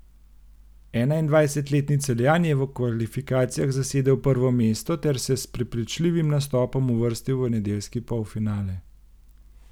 Enaindvajsetletni Celjan je v kvalifikacijah zasedel prvo mesto ter se s prepričljivim nastopom uvrstil v nedeljski polfinale.